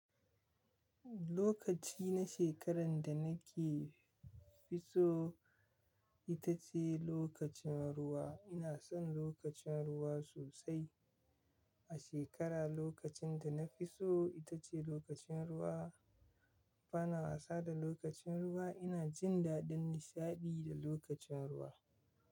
Lokaci na shekaran da nake fiso ita ce lokacin ruwa. Ina son lokacin ruwa sosai. A shekara lokacin da na fi so ita ce lokacin ruwa. Bana wasa da lokacin ruwa. Ina jin daɗin nishaɗi da lokacin ruwa.